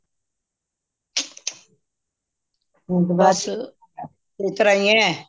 ਹੁਣ ਤੇ ਇਸਤਰ੍ਹਾਂ ਹੀਏ